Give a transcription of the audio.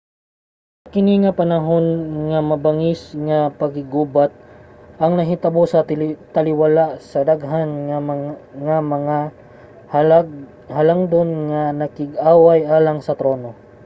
sa kini nga mga panahon ang mabangis nga pakiggubat ang nahitabo sa taliwala sa daghan nga mga halangdon nga nakig-away alang sa trono